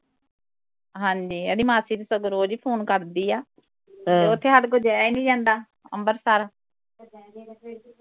ਹਾਂਜੀ ਇਹਦੀ ਮਾਸੀ ਤੇ ਸਗੋਂ ਰੋਜ ਈ phone ਕਰਦੀ ਆ ਉਥੇ ਹਾਡੇ ਕੋਲ ਜਾਇਆ ਨੀ ਜਾਂਦਾ ਅੰਬਰਸਰ